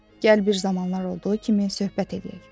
Gəl bir zamanlar olduğu kimi söhbət eləyək.